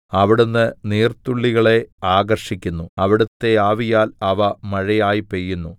അവിടുന്ന് നീർത്തുള്ളികളെ ആകർഷിക്കുന്നു അവിടുത്തെ ആവിയാൽ അവ മഴയായി പെയ്യുന്നു